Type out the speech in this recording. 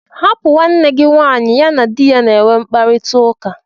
Hapụ nwanne gị nwanyị, ya na di ya na-enwe mkparịtaụka!!